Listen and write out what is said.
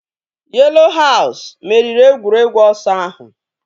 Yelo haus meriri egwuregwu ọsọ ahụ